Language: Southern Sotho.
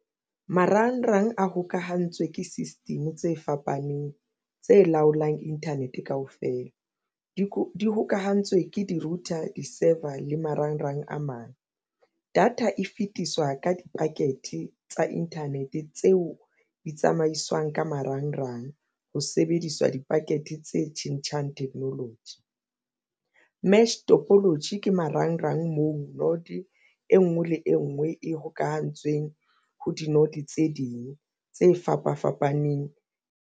Marangrang a hokahantswe ke system tse fapaneng tse laolang internet kaofela di hokahantswe ke di-router di-saver le marangrang a mang. Data e fetiswa ka di-packet tsa internet tseo di tsamaiswang ka marangrang ho sebediswa di-packet tse tjhentjhang technology. Mesh topology ke marangrang moo node e nngwe le e nngwe e hokahantswe teng ho di-node tse ding tse fapa fapaneng.